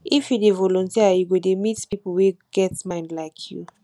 if you dey voluteer you go dey meet pipu wey get mind like you